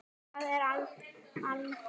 Það er val.